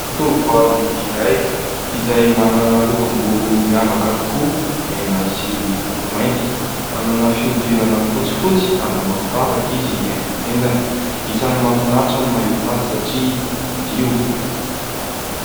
Tovovavy iray izay manana lokom-bolo miavaka tokoa mena sy maintimainty. Manana fihodirana fotsifotsy ary manao firavaka izy eny amin'ny tendany. Isany mafinatra no mahita azy satria madio.